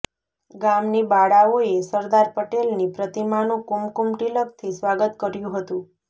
ગામની બાળાઓએ સરદાર પટેલની પ્રતિમાનું કુમકુમ તિલકથી સ્વાગત કર્યું હતું